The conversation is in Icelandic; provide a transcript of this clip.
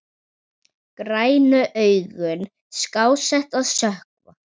Grænu augun skásett að sökkva.